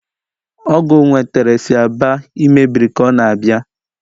Ọgu nwetere si Aba lmebiri ka ọ na-abịa.